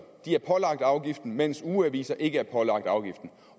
er pålagt afgiften mens ugeaviser ikke er pålagt afgiften